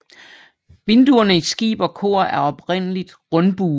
Vinduerne i skib og kor er oprindeligtrundbuede